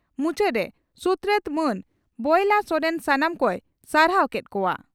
ᱢᱩᱪᱟᱹᱫᱽ ᱨᱮ ᱥᱩᱛᱨᱮᱛ ᱢᱟᱱ ᱵᱚᱭᱞᱟ ᱥᱚᱨᱮᱱ ᱥᱟᱱᱟᱢ ᱠᱚᱭ ᱥᱟᱨᱦᱟᱣ ᱠᱮᱫ ᱠᱚᱣᱟ ᱾